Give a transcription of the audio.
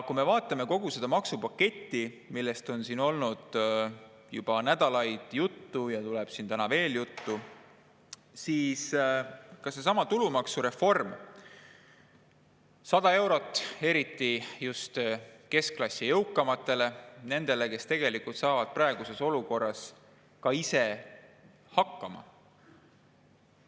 Kui me vaatame kogu seda maksupaketti, millest on siin olnud juba nädalaid juttu ja tuleb täna veel juttu, siis seesama tulumaksureform annab 100 eurot just keskklassi jõukamatele, nendele, kes tegelikult saavad praeguses olukorras ka ise hakkama.